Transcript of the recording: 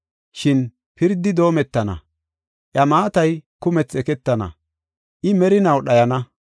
Shin pirdi doometana; iya maatay kumethi eketana; I merinaw dhayana.